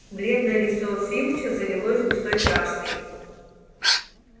бледное лицо филча залилось густой краской